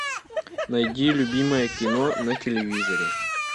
найди любимое кино на телевизоре